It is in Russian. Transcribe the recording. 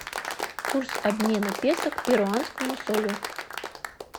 курс обмена песо к перуанскому солю